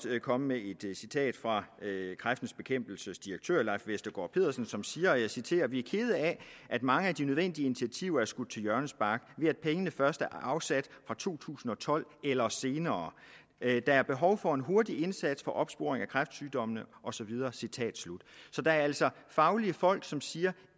komme med et citat fra kræftens bekæmpelses direktør leif vestergaard pedersen som siger og jeg citerer vi er kede af at mange af de nødvendige initiativer er skudt til hjørnespark ved at pengene først er afsat fra to tusind og tolv eller senere der er behov for en hurtig indsats for opsporing af kræftsygdommene og så videre citat slut så der er altså fagfolk som siger